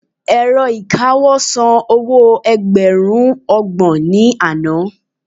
ẹ̀rọ ìkawó san owo ẹgbẹrun ọgbọ̀n ni Ana